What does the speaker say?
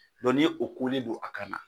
ni y' o kunin don a kan na.